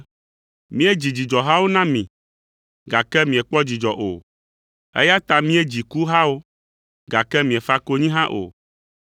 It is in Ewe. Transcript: “ ‘Míedzi dzidzɔhawo na mi, gake miekpɔ dzidzɔ o, eya ta míedzi kuhawo, gake miefa konyi hã o!’